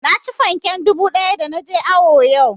Naci fanken dubu ɗaya da na je awo yau